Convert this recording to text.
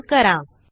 save करा